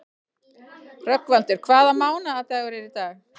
Rögnvaldur, hvaða mánaðardagur er í dag?